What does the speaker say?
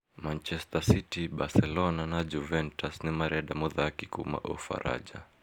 Manchester City, Barcelona na Juventus nĩmarenda mũthaki kuuma Ufaranja